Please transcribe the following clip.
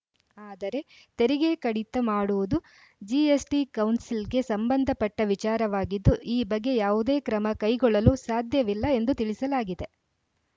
ಆದರೆ ತೆರಿಗೆ ಕಡಿತ ಮಾಡುವುದು ಜಿಎಸ್‌ಟಿ ಕೌನ್ಸಿಲ್‌ಗೆ ಸಂಬಂಧಪಟ್ಟವಿಚಾರವಾಗಿದ್ದು ಈ ಬಗ್ಗೆ ಯಾವುದೇ ಕ್ರಮ ಕೈಗೊಳ್ಳಲು ಸಾಧ್ಯವಿಲ್ಲ ಎಂದು ತಿಳಿಸಲಾಗಿದೆ